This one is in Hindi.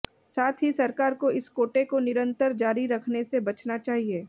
साथ ही सरकार को इस कोटे को निरंतर जारी रखने से बचना चाहिए